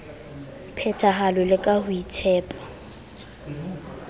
phethahalo le ka ho itshepa